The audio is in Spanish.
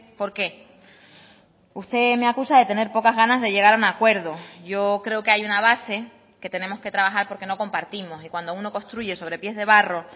por qué usted me acusa de tener pocas ganas de llegar a un acuerdo yo creo que hay una base que tenemos que trabajar porque no compartimos y cuando uno construye sobre pies de barro